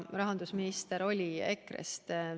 Rahandusminister oli EKRE-st.